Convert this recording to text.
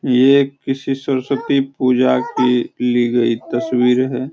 ये किसी सरस्वती पूजा की ली गई तस्वीर है।